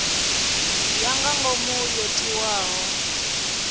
ya nga ngomu yo tiwaho